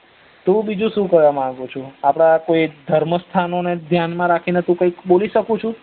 તો હુ બીજું સુ કરવા માંગુ છુ આપડા કોઈ ધર્મ સ્થાનોને ધ્યાન માં રાખી ને હુ બોલી શકું છુ